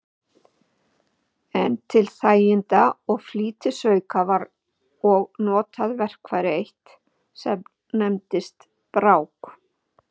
En til þæginda og flýtisauka var og notað verkfæri eitt, sem nefndist brák.